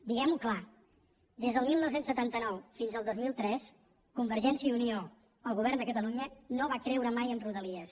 diguem ho clar des del dinou setanta nou fins al dos mil tres convergència i unió el govern de catalunya no va creure mai en rodalies